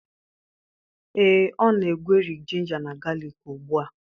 Ee, ọ na-egweri ginga na galik ugbu a.